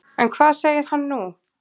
En hvað segir hann nú?